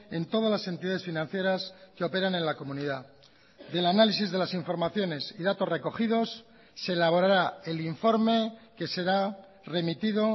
en todas las entidades financieras que operan en la comunidad del análisis de las informaciones y datos recogidos se elaborará el informe que será remitido